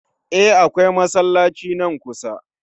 E, akawai masallaci nan kusa.